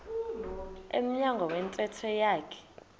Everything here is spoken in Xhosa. emnyango wentente yakhe